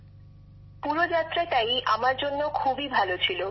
বিশাখাজীঃ পুরো যাত্রাটাই আমার জন্য খুবই ভাল ছিল